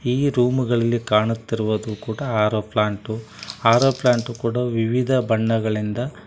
ಈ ರೂಮು ಗಳಲ್ಲಿ ಕಾಣತಿರುವದ ಕೂಡಾ ಆರು ಪ್ಲಾಂಟು ಆರು ಪ್ಲಾಂಟೂ ಕೂಡಾ ವಿವಿಧ ಬಣ್ಣಗಳಿಂದ --